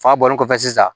Fa bɔlen kɔfɛ sisan